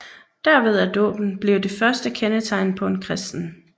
Derved er dåben blevet det første kendetegn på en kristen